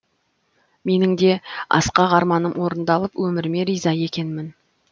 менің де асқақ арманым орындалып өміріме риза екенмін